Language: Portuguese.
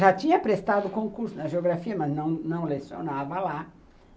Já tinha prestado concurso na Geografia, mas não não lecionava lá.